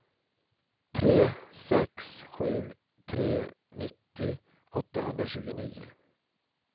tre sex sju tre nittio åttahundratjugonio